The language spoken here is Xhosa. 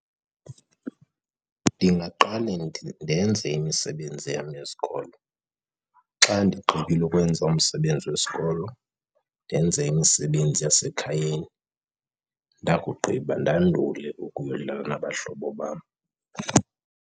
Ndingaqale ndenze imisebenzi yam yesikolo. Xa ndigqibile ukwenza umsebenzi wesikolo ndenze imisebenzi yasekhayeni, ndakugqiba ndandule ukuyodlala nabahlobo bam.